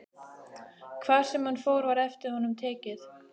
Hvar sem hann fór var eftir honum tekið.